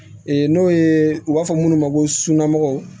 Ee n'o ye u b'a fɔ minnu ma ko suna mɔgɔw